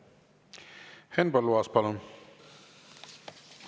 Henn Põlluaas, palun!